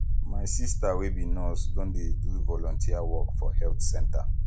my sista wey be nurse don dey do volunteer work for health center